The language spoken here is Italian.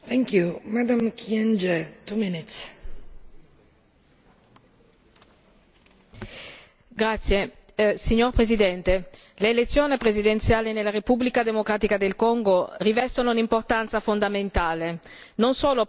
Signora Presidente, onorevoli colleghi, l'elezione presidenziale nella Repubblica democratica del Congo riveste un'importanza fondamentale non solo per il consolidamento della democrazia di questo paese ma anche per gli equilibri e la stabilità dell'intera regione dei Grandi Laghi.